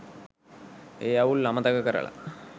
ඒ අවුල් අමතක කරලා